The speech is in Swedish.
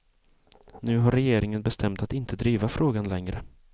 Nu har regeringen bestämt att inte driva frågan längre.